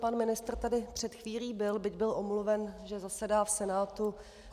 Pan ministr tady před chvílí byl, byť byl omluven, že zasedá v Senátu.